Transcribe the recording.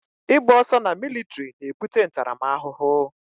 Ị gba ọsọ na militiri na ebute ntaramahụhụ